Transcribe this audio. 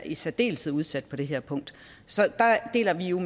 er særdeles udsatte på det her punkt så der deler vi jo